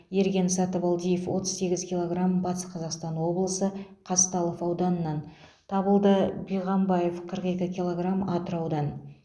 ерген сатыбалдиев отыз сегіз килограмм батыс қазақстан облысы қазталов ауданынан табылды биғамбаев қырық екі килограмм атыраудан